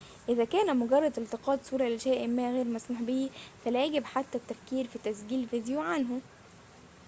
إذا كان مجرد التقاط صورة لشيء ما غير مسموح به فلا يجب حتى التفكير في تسجيل فيديو عنه